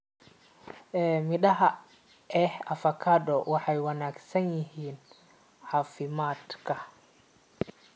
Midhaha ee avokado waa wanaagsan yihiin caafimaadka.